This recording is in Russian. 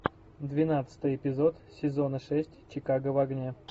двенадцатый эпизод сезона шесть чикаго в огне